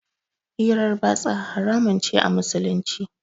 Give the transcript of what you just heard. Hirar batsa haramun ce a Musulunci.